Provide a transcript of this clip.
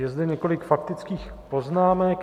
Je zde několik faktických poznámek.